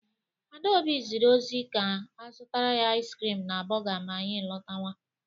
Adaobi zịrị ozi ka a zụtara ya ais krịm na bọọga ma anyị lọtawa.